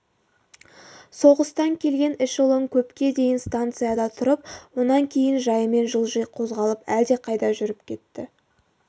соғыстан келген эшелон көпке дейін станцияда тұрып онан кейін жайымен жылжи қозғалып әлдеқайда жүріп кетті